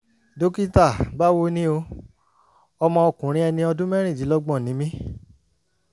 dókítà báwo ni o? ọmọ ọkùnrin ẹni ọdún mẹ́rìndínlọ́gbọ̀n ni mí